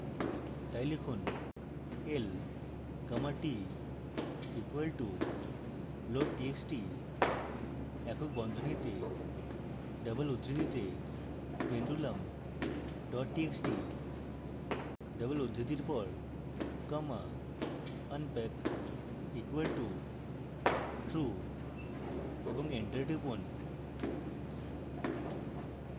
txt লিখুন l comma t equal to loadtxt একক বন্ধনীতে double উদ্ধৃতিতে pendulum dot txt double উদ্ধৃতির পর comma unpack equal to true